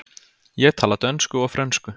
Ég tala dönsku og frönsku.